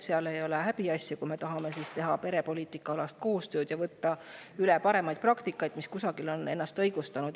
See ei ole häbiasi, kui me perepoliitika vallas tahame koostööd teha ja üle võtta parimaid praktikaid, mis kusagil on ennast õigustanud.